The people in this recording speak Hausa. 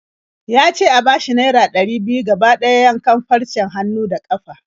Ya ce a bashi naira ɗari biyu gaba ɗaya yankan farcen hannu da ƙafa.